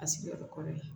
A sigiyɔrɔ kɔrɔlen